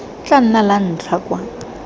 tla nna la ntlha kwa